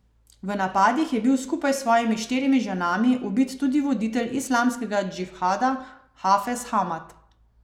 V napadih je bil skupaj s svojimi štirimi ženami ubit tudi voditelj Islamskega džihada Hafez Hamad.